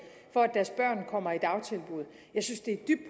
for at deres børn kommer i dagtilbud jeg synes det er dybt